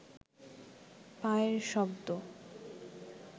পায়ের শব্দ